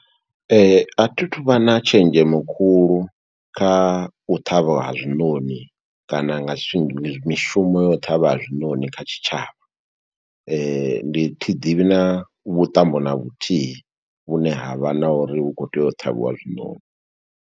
A thi thu vha na tshenzhemo khulu kha u ṱhavha ha zwiṋoṋi, kana nga shum mishumo ya u ṱhavha ha zwiṋoṋi kha tshi tshavha. Ndi thi ḓivhi na vhuṱambo na vhuthihi, vhune ha vha na uri hu khou tea u ṱhavhiwa zwiṋoṋi.